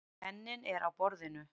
Penninn er á borðinu.